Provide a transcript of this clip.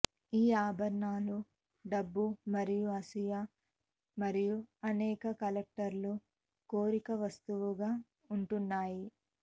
ఈ ఆభరణాలు డబ్బు మరియు అసూయ మరియు అనేక కలెక్టర్లు కోరిక వస్తువుగా ఉంటున్నాయి